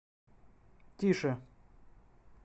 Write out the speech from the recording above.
тише